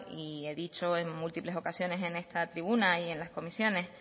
y he dicho en múltiples ocasiones en esta tribuna y en las comisiones